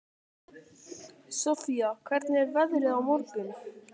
Sofía, hvernig er veðrið á morgun?